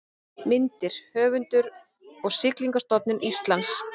Myndir: Höfundur og Siglingastofnun Íslands